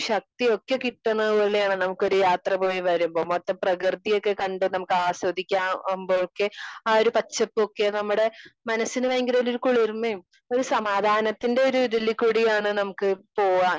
Speaker 2 ശക്തിയൊക്കെ കിട്ടുന്ന പോലെയാണ് നമുക്ക് ഒരു യാത്ര പോയി വരുമ്പോ. മൊത്തം പ്രകൃതി ഒക്കെ കണ്ട് നമുക്ക് ആസ്വദിക്കാവുമ്പേക്ക് ആ ഒരു പച്ചപ്പൊക്കെ നമ്മുടെ മനസ്സിന് ഭയങ്കരൊരു കുളിർമേം ഒരു സമാധാനത്തിന്റെ ഒരു ഒരു ഇതിൽ കൂടിയാണ് നമുക്ക് പോവ്വാൻ